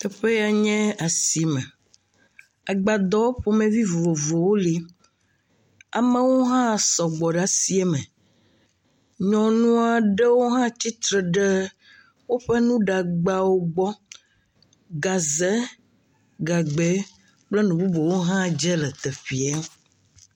Teƒe ya nye asime, egbadɔwɔ ƒomevi vovovowo le, amewo hã sɔgbɔ ɖe asie me, nyɔnu aɖewo tsitre ɖe woƒe nuɖagbawo gbɔ, gaze, gagbe kple nu bubuwo hã dze le teƒee.